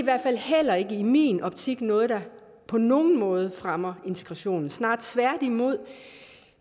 er i min optik ikke noget der på nogen måde fremmer integrationen tværtimod det